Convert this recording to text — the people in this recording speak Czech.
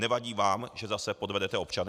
Nevadí vám, že zase podvedete občany?